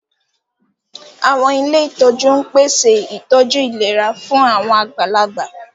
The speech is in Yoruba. Àwọn ilé ìtọ́jú ń pèsè ìtọ́jú ìlera fún àwọn àgbàlagbà